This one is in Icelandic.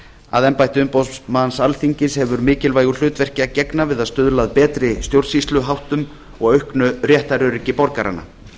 að embætti umboðsmanns alþingis hefur mikilvægu hlutverki að gegna við að stuðla að betri stjórnsýsluháttum og auknu réttaröryggi borgaranna